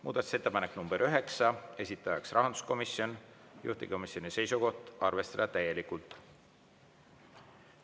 Muudatusettepanek nr 9, esitaja on rahanduskomisjon, juhtivkomisjoni seisukoht on arvestada täielikult.